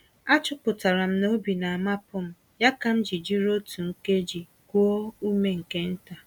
A chọpụtara m n'obi na-amapụm, ya kam ji jiri otú nkeji kuo ume nke ntà